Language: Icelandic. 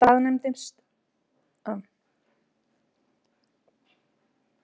Kela staðnæmdist hann og fylgdist með þeim álengdar.